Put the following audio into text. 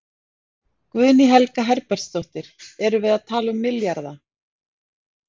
Guðný Helga Herbertsdóttir: Erum við að tala um milljarða?